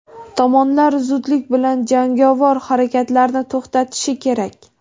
tomonlar zudlik bilan jangovar harakatlarni to‘xtatishi kerak.